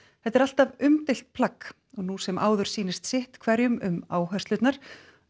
þetta er alltaf umdeilt plagg og nú sem áður sýnist sitt hverjum um áherslurnar